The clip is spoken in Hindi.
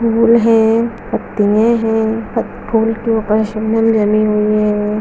फूल है पत्तिया है पत्ती फुलके ऊपर शबनम डली हुई है।